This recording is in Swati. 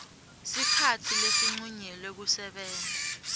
sikhatsi lesincunyelwe kusebenta